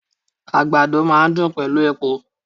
Àádùn máa n dùn pẹlú epo.